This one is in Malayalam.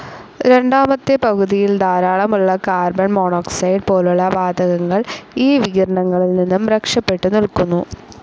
രണ്ടാ മത്തെ പകുതിയിൽ ധാരാളമുളള കാർബൺ മോണോക്സൈഡ്‌ പോലുളള വാതകങ്ങൾ ഈ വികിരണങ്ങളിൽ നിന്നും രക്ഷപ്പെട്ടു നിൽക്കുന്നു.